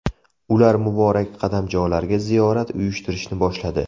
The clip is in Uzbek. Ular muborak qadamjolarga ziyorat uyushtirishni boshladi.